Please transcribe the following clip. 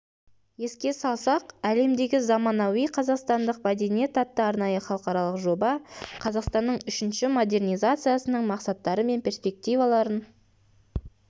еске салсақ әлемдегі заманауи қазақстандық мәдениет атты арнайы халықаралық жоба қазақстанның үшінші модернизациясының мақсаттары мен перспективаларын